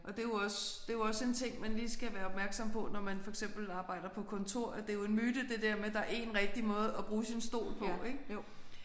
Og det er jo også det er jo også en ting man lige skal være opmærksom på når man for eksempel arbejder på kontor at det er jo en myte det der med at der er en rigtig måde at bruge sin stol på ik